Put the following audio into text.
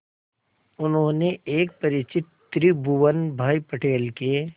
उन्होंने एक परिचित त्रिभुवन भाई पटेल के